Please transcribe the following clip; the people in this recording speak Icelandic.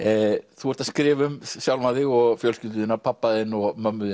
þú ert að skrifa um sjálfan þig og fjölskyldu þína pabba þinn og mömmu